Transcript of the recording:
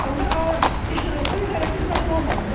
Onda su idarəsi bizdən pul almasın da.